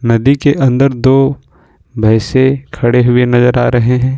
नदी के अंदर दो भैंसे खड़े हुए नजर आ रहे हैं।